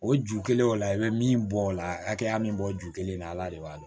O ju kelen o la i bɛ min bɔ o la hakɛya min bɔ ju kelen la ala de b'a dɔn